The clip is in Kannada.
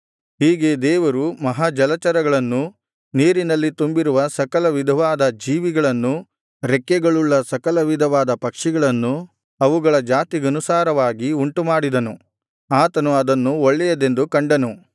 ಹೀಗೆ ದೇವರು ಮಹಾ ಜಲಚರಗಳನ್ನೂ ನೀರಿನಲ್ಲಿ ತುಂಬಿರುವ ಸಕಲ ವಿಧವಾದ ಜೀವಿಗಳನ್ನೂ ರೆಕ್ಕೆಗಳುಳ್ಳ ಸಕಲವಿಧವಾದ ಪಕ್ಷಿಗಳನ್ನೂ ಅವುಗಳ ಜಾತಿಗನುಸಾರವಾಗಿ ಉಂಟುಮಾಡಿದನು ಆತನು ಅದನ್ನು ಒಳ್ಳೆಯದೆಂದು ಕಂಡನು